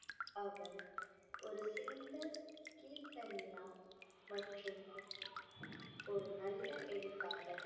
அவர் ஒரு சிறந்த மற்றும் ஒரு நல்ல எழுத்தாளர்.